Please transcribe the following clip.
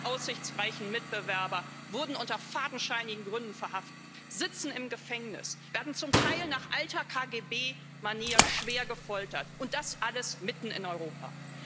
Alle aussichtsreichen Mitbewerber wurden unter fadenscheinigen Gründen verhaftet, sitzen im Gefängnis, werden zum Teil nach alter KGB Manier schwer gefoltert, und das alles mitten in Europa.